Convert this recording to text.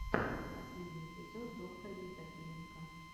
последний эпизод доктор евдокименко